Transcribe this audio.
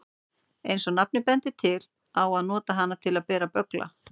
Eins og nafnið bendir til á að nota hana til að bera böggla.